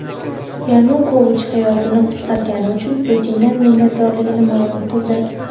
Yanukovich hayotini qutqargani uchun Putindan minnatdorligini ma’lum qildi.